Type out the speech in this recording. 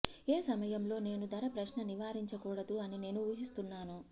ఏ సమయంలో నేను ధర ప్రశ్న నివారించకూడదు అని నేను ఊహిస్తున్నాను